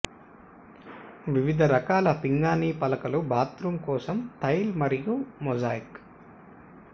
వివిధ రకాల పింగాణీ పలకలు బాత్రూమ్ కోసం టైల్ మరియు మొజాయిక్